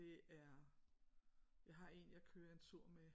Det er jeg har en jeg kører en tur med